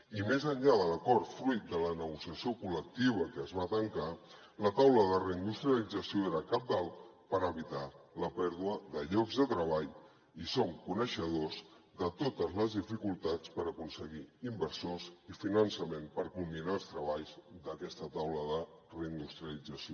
i més enllà de l’acord fruit de la negociació col·lectiva que es va tancar la taula de reindustrialització era cabdal per evitar la pèrdua de llocs de treball i som coneixedors de totes les dificultats per aconseguir inversors i finançament per culminar els treballs d’aquesta taula de reindustrialització